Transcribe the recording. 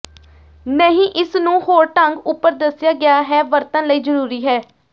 ਨਹੀ ਇਸ ਨੂੰ ਹੋਰ ਢੰਗ ਉਪਰ ਦੱਸਿਆ ਗਿਆ ਹੈ ਵਰਤਣ ਲਈ ਜ਼ਰੂਰੀ ਹੈ